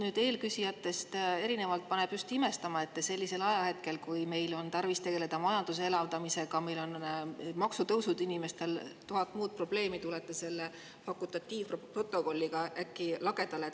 Mind eelküsijatest erinevalt paneb just imestama, et te sellisel ajahetkel, kui meil on tarvis tegeleda majanduse elavdamisega, meil on maksutõusud, inimestel on tuhat muud probleemi, tulete selle fakultatiivprotokolliga äkki lagedale.